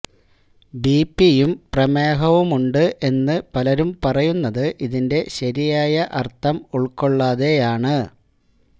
ബിപിയും പ്രമേഹവുമുണ്ട് എന്ന് പലരും പറയുന്നത് ഇതിന്റെ ശരിയായ അര്ത്ഥം ഉള്ക്കൊള്ളാതെയാണ്